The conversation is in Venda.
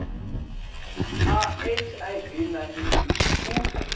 a hiv na eidzi u